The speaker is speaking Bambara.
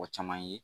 Mɔgɔ caman ye